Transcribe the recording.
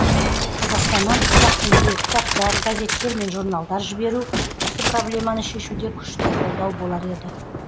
қазақстаннан қазақ тіліндегі кітаптар газеттер мен журналдар жіберу осы проблеманы шешуде күшті қолдау болар еді